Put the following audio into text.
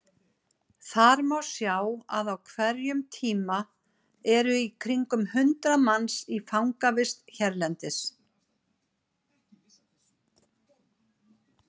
Þar má sjá að á hverjum tíma eru í kringum hundrað manns í fangavist hérlendis.